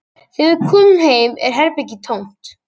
Þegar við komum heim er herbergið tómt